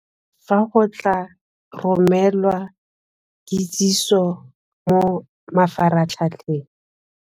Fa go tla romelwa kitsiso mo mafaratlhatlheng.